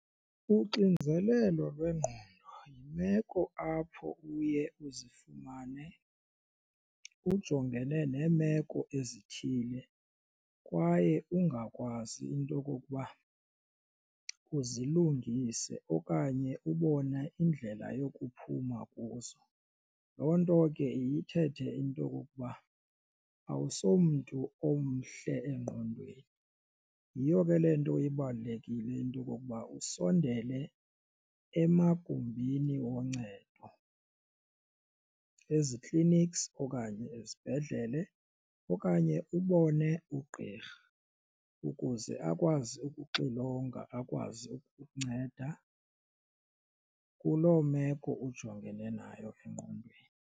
Uxinzelelo lwengqondo yimeko apho uye uzifumane ujongene neemeko ezithile kwaye ungakwazi into okokuba uzilungise okanye ubone indlela yokuphuma kuzo. Loo nto ke iye ithethe into okokuba awusowumntu omhle engqondweni yiyo ke le nto ibalulekile into okokuba usondele emagumbini woncedo ezi-clinics okanye ezibhedlele okanye ubone ugqirha ukuze akwazi ukuxilonga akwazi ukukunceda kuloo meko ujongene nayo engqondweni.